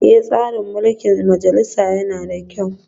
Eh, tsarin mulkin majalisa yana da kyau